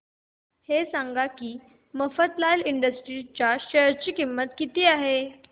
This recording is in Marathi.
हे सांगा की मफतलाल इंडस्ट्रीज च्या शेअर ची किंमत किती आहे